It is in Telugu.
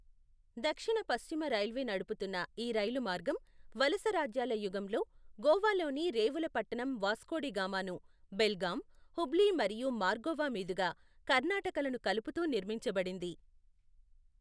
దక్షిణ పశ్చిమ రైల్వే నడుపుతున్న ఈ రైలు మార్గం వలసరాజ్యాల యుగంలో, గోవాలోని రేవుల పట్టణం వాస్కో డి గామాను బెల్గాం, హుబ్లీ మరియు మార్గోవా మీదుగా కర్ణాటకలను కలుపుతూ నిర్మించబడింది.